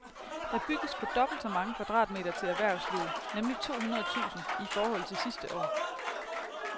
Der bygges på dobbelt så mange kvadratmeter til erhvervslivet, nemlig to hundrede tusind, i forhold til sidste år.